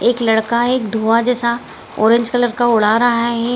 एक लड़का है एक धुआँ जैसा ऑरेंज कलर का उड़ा रहा है ।